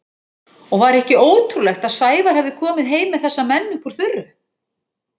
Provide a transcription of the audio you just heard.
Og var ekki ótrúlegt að Sævar hefði komið heim með þessa menn upp úr þurru?